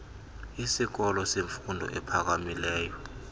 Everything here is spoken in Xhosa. isikolo semfundo ephakamileyo